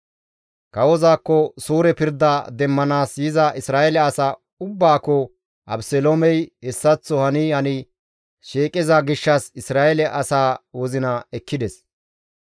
Kawozaakko suure pirda demmanaas yiza Isra7eele asa ubbaakko Abeseloomey hessaththo hani hani shiiqiza gishshas Isra7eele asaa wozina ekkides.